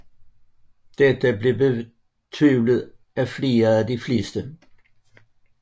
Dette blev betvivlet af de fleste